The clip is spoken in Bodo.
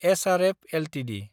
SRF Ltd